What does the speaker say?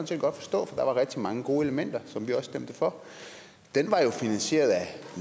set godt forstå for der var rigtig mange gode elementer som vi også stemte for var jo finansieret af